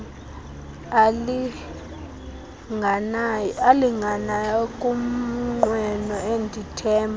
alinganayo ngumnqweno endithemba